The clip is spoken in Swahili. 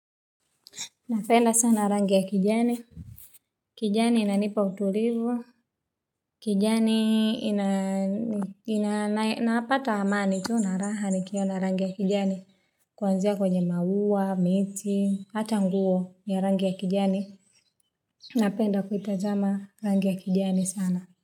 Napenda sana rangi ya kijani kijani inanipa utulivu kijani ina napata amani tu na raha nikiona rangi ya kijani kuanzia kwenye maua miti ata nguo ya rangi ya kijani napenda kuitazama rangi ya kijani sana.